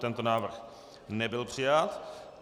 Tento návrh nebyl přijat.